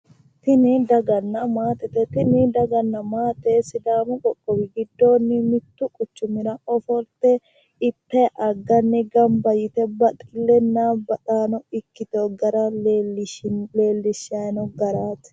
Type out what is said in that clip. Tini daganna maatete. Tini daganna maate sidaamu qoqqowi giddoonni mittu quchumira ofolte ittayi agganni gamba yite baxllenna baxaano ikkitiwo gara leellishshayi noo garaati.